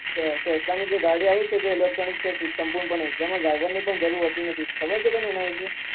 કે ગાડી આવી છે એતે electronic છે સંપૂર્ણપણે તેમાં driver ની પણ જરૂર નથી ખબર છે તને એના વિષે?